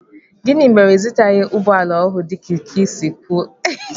Gịnị mere na ịzụtaghi ụgbọala ọhụụ dika i siri kwụọ?